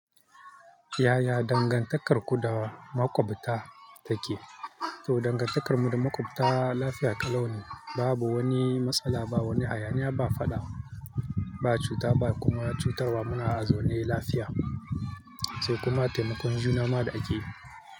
Yaya dangantakarku da makwabta take? To dangantakarmu da makwabta lafiya ƙalau ne. Babu wani matsala, ba wani hayaniya, ba faɗa, ba cuta ba kuma cutarwa. Muna a zone lafiya sai kuma taimakon juna ma da ake.